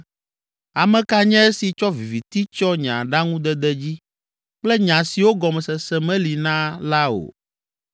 “Ame ka nye esi tsɔ viviti tsyɔ nye aɖaŋudede dzi kple nya siwo gɔmesese meli na la o?